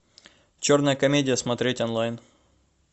черная комедия смотреть онлайн